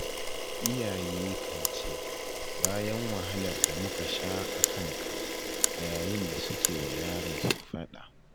Iyaye kan ce 'bayan wahalar da muka sha a kanka' a yayin da suke wa yaransu faɗa.